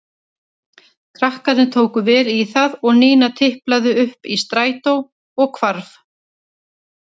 Krakkarnir tóku vel í það og Nína tiplaði upp í strætó og hvarf.